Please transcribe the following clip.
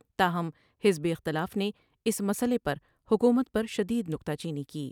تا ہم حزب اختلاف نے اس مسئلے پر حکومت پر شد ید نکتہ چینی کی ۔